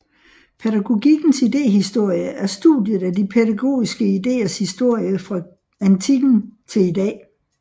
Pædagogikkens idéhistorie er studiet af de pædagogiske ideers historie fra antikken til i dag